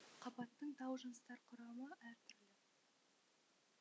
қабаттың тау жыныстары құрамы әр түрлі